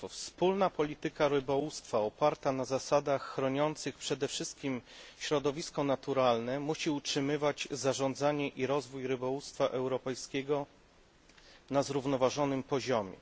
Wspólna polityka rybołówstwa oparta na zasadach chroniących przede wszystkim środowisko naturalne musi utrzymywać zarządzanie i rozwój rybołówstwa europejskiego na zrównoważonym poziomie.